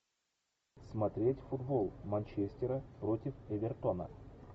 смотреть футбол манчестера против эвертона